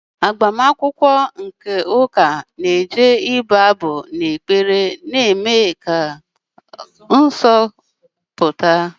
IAgbamakwụkwọ nke ụka na-eji ibu abụ na ekpere na-eme ka ọnọdụ dị nsọ pụta.